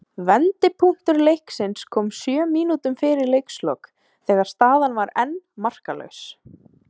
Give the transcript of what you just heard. Vendipunktur leiksins kom sjö mínútum fyrir leikslok þegar staðan var enn markalaus.